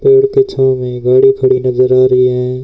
पेड़ के छांव में गाड़ी खड़ी नजर आ रही है।